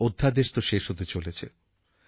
অধ্যাদেশ তো শেষ হতে চলেছে